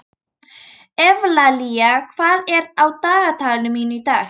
Evlalía, hvað er á dagatalinu mínu í dag?